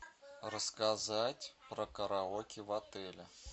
рассказать про караоке в отеле